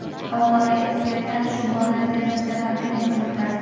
Xalqaro ekspertlar shu borada Termizda konferensiya o‘tkazdi.